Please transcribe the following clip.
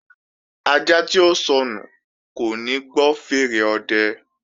Ajá tí ó sọnù kò ní gbọ́ fèèrè ọ̀dẹ